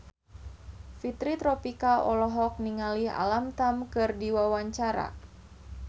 Fitri Tropika olohok ningali Alam Tam keur diwawancara